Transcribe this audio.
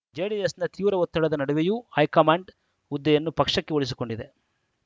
ಜೆಡಿಎಸ್‌ನ ತೀವ್ರ ಒತ್ತಡದ ನಡುವೆಯೂ ಹೈಕಮಾಂಡ್‌ ಹುದ್ದೆಯನ್ನು ಪಕ್ಷಕ್ಕೆ ಉಳಿಸಿಕೊಂಡಿದೆ